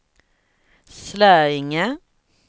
Slöinge